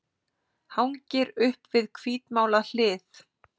Hangir upp við hvítmálað hlið.